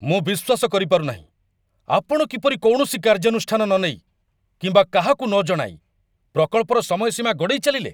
ମୁଁ ବିଶ୍ୱାସ କରିପାରୁ ନାହିଁ ଆପଣ କିପରି କୌଣସି କାର୍ଯ୍ୟାନୁଷ୍ଠାନ ନନେଇ କିମ୍ବା କାହାକୁ ନ ଜଣାଇ ପ୍ରକଳ୍ପର ସମୟସୀମା ଗଡ଼େଇ ଚାଲିଲେ।